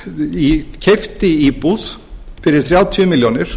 kom og keypti íbúð fyrir þrjátíu milljónir